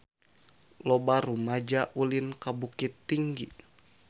Loba rumaja ulin ka Bukittinggi